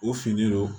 U finnen don